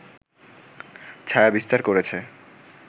ছায়া বিস্তার করেছে